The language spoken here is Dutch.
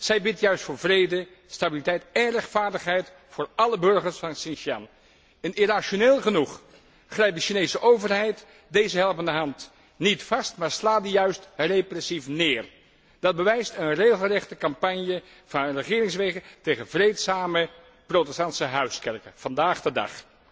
Zij bidt juist voor vrede, stabiliteit én rechtvaardigheid voor álle burgers van Xinjiang. En irrationeel genoeg grijpt de Chinese overheid deze helpende hand niet, maar slaat die juist repressief neer! Dat blijkt uit een regelrechte campagne van regeringswege tegen vreedzame protestantse huiskerken, vandaag de dag.